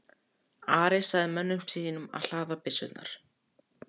Ari sagði mönnunum að hlaða byssurnar.